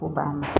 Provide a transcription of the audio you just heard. O banna